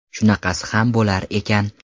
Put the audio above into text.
Shunaqasi ham bo‘lar ekan.